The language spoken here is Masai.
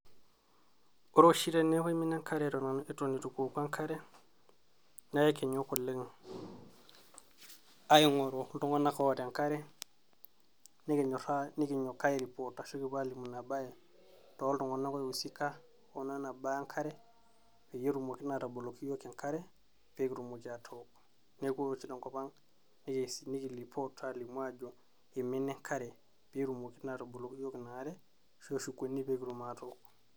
woore oshi teneaku kimina enkare eton itu kiwoku enkare naa aikinyok aingoru iltunganak oota enkare ,nikinyok airepot arashu kiliki iltunganak oiusika tenena baa enkare pekitumoki atook. neaku ore oshi tenkp ang naa ekireport ajoo imina Enkare peshukuni pekitumoki naa atook